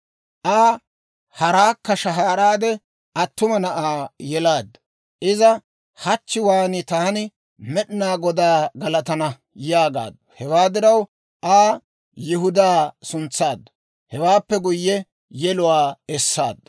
Aa haraakka shahaaraade attuma na'aa yelaaddu. Iza, «Hachchiwaan taani Med'inaa Godaa galatana» yaagaaddu. Hewaa diraw Aa Yihudaa suntsaaddu. Hewaappe guyye yeluwaa essaaddu.